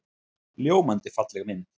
Ljómandi falleg mynd.